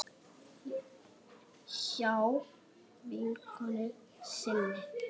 Hjá vinkonu sinni?